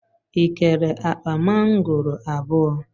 ị kere akpa mangoro abụọ?